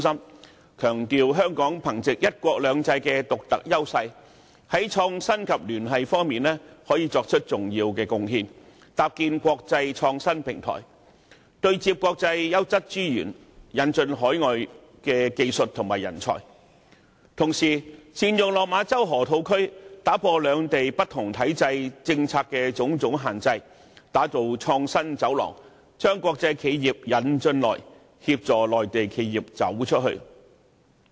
有關建議強調香港可藉"一國兩制"的獨特優勢，在創新及聯繫方面作出重要貢獻，搭建國際創新平台，對接國際優質資源，引進海外技術和人才，同時，透過善用落馬洲河套區，打破兩地不同體制、政策的種種限制，打造創新走廊，將國際企業"引進來"，協助內地企業"走出去"。